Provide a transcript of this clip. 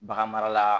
Bagan mara la